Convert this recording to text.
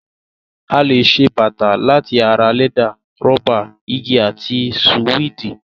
A lè ṣe bàtà láti ara lẹ́dà, rọ́bà, igi àti sùwéèdì.